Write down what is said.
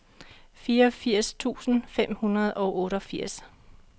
fireogfirs tusind fem hundrede og otteogfirs